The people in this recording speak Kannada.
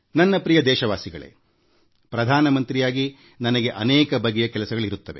ನನ್ನ ಪ್ರಿಯ ದೇಶವಾಸಿಗಳೇ ಪ್ರಧಾನ ಮಂತ್ರಿಯಾಗಿ ನನಗೆ ಅನೇಕ ಬಗೆಯ ಕೆಲಸಗಳಿರುತ್ತವೆ